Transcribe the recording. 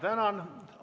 Tänan!